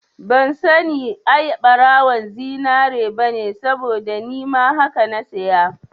Ban sani ai ɓarawon zinari bane saboda nima haka na saya